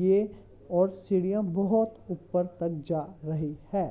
यह और सीढ़ियां बहुत ऊपर तक जा रही है।